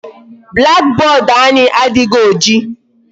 Black board anyị adịghị oji.